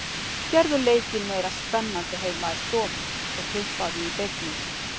Gerðu leikinn meira spennandi heima í stofu og tippaðu í beinni.